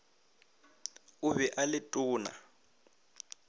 o be o le tona